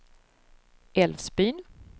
Älvsbyn